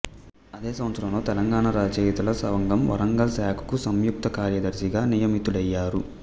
అదే సంవత్సరంలో తెలంగాణ రచయితల సంఘంవరంగల్ శాఖకు సంయుక్త కార్యదర్శిగా నియమితుడయ్యారు